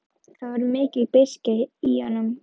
Það var mikil beiskja í honum.